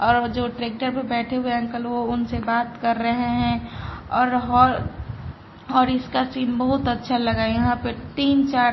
और जो ट्रैक्टर पे बैठे हुए अंकल वो उनसे बात कर रहे है और हो और इसका सीन बहुत अच्छा लगा यहां पे तीन चार--